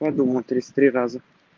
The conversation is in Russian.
я думала тридцать три раза